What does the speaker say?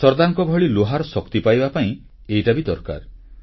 ସର୍ଦ୍ଦାରଙ୍କ ଭଳି ଲୁହାର ଶକ୍ତି ପାଇବା ପାଇଁ ଏଇଟା ବି ତ ଦରକାର